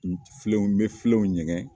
Filenw n bɛ filenw ɲɛgɛn.